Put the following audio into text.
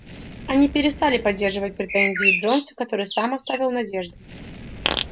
они перестали поддерживать претензии джонса который сам оставил надежды